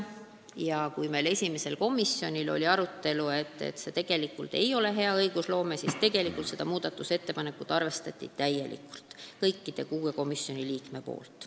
Ja ehkki meil oli esimesel komisjoni istungil arutelu, et see ei ole hea õigusloome tava kohane, arvestati seda muudatusettepanekut täielikult: kõik 6 komisjoni liiget olid poolt.